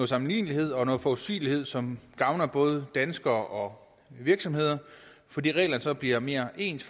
sammenlignelighed og noget forudsigelighed som gavner både danske borgere og virksomheder fordi reglerne så bliver mere ens